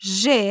J.